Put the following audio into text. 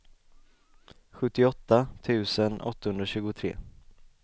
sjuttioåtta tusen åttahundratjugotre